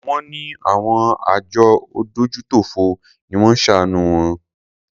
Wón ní àwọn àjọ adójútòfò ni wón ṣàánù wọn.